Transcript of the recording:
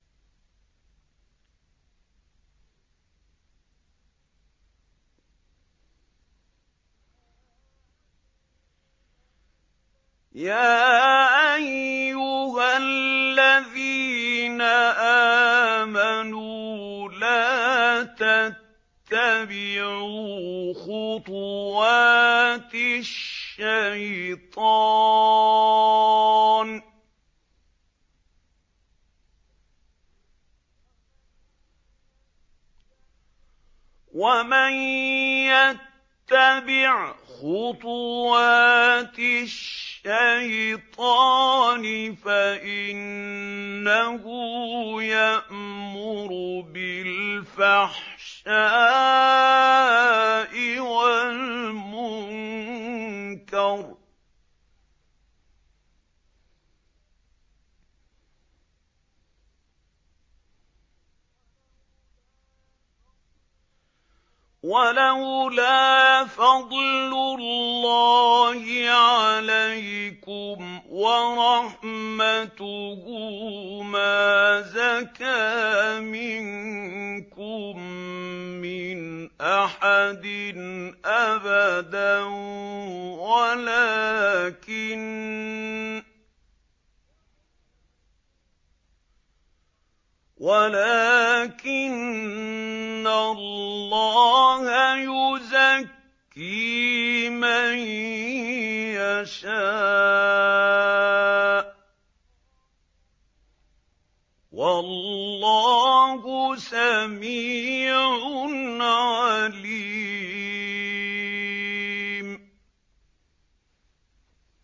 ۞ يَا أَيُّهَا الَّذِينَ آمَنُوا لَا تَتَّبِعُوا خُطُوَاتِ الشَّيْطَانِ ۚ وَمَن يَتَّبِعْ خُطُوَاتِ الشَّيْطَانِ فَإِنَّهُ يَأْمُرُ بِالْفَحْشَاءِ وَالْمُنكَرِ ۚ وَلَوْلَا فَضْلُ اللَّهِ عَلَيْكُمْ وَرَحْمَتُهُ مَا زَكَىٰ مِنكُم مِّنْ أَحَدٍ أَبَدًا وَلَٰكِنَّ اللَّهَ يُزَكِّي مَن يَشَاءُ ۗ وَاللَّهُ سَمِيعٌ عَلِيمٌ